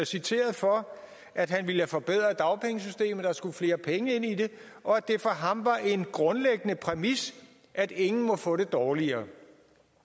citeret for at han ville forbedre dagpengesystemet at der skulle flere penge ind i det og at det for ham var en grundlæggende præmis at ingen måtte få det dårligere